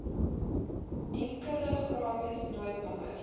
enkele gratis noodnommer